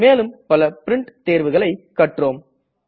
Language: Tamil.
மேலும் பல பிரின்ட் தேர்வுகளை கற்றோம்